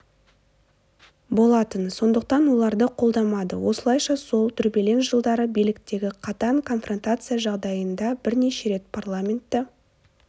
болатын сондықтан оларды қолдамады осылайша сол дүрбелең жылдары биліктегі қатаң конфронтация жағдайында бірнеше рет парламентті